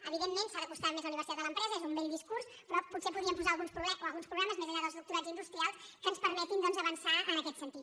evidentment s’ha d’acostar més la universitat a l’empresa és un vell discurs però potser podríem posar alguns programes més enllà dels doctorats industrials que ens permetin avançar en aquest sentit